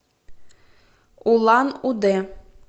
улан удэ